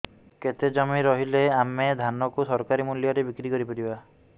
କେତେ ଜମି ରହିଲେ ଆମେ ଧାନ କୁ ସରକାରୀ ମୂଲ୍ଯରେ ବିକ୍ରି କରିପାରିବା